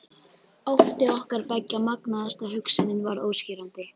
Ótti okkar beggja magnaðist og hugsunin varð óskýrari.